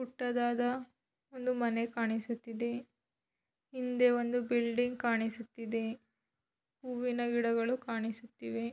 ಪುಟ್ಟದಾದ ಒಂದು ಮನೆ ಕಾಣಿಸುತ್ತಿದೆ ಹಿಂದೆ ಒಂದು ಬಿಲ್ಡಿಂಗ್ ಕಾಣಿಸುತ್ತಿದೆ ಹೂವಿನ ಗಿಡಗಳು ಕಾಣಿಸುತ್ತಿವೆ.